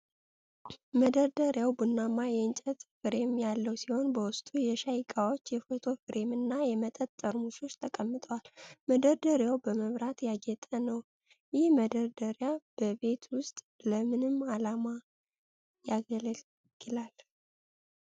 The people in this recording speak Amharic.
መደርደሪያው ቡናማ የእንጨት ፍሬም ያለው ሲሆን፣ በውስጡ የሻይ ዕቃዎች፣ የፎቶ ፍሬም እና የመጠጥ ጠርሙሶች ተቀምጠዋል። መደርደሪያው በመብራት ያጌጠ ነው። ይህ መደርደሪያ በቤት ውስጥ ለምን ዓላማ ያገለግላል?